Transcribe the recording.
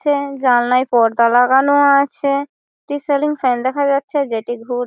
chain জানলায় পর্দা লাগানো আছে একটি সেলিং ফ্যান দেখা যাচ্ছে যেটি ঘুর--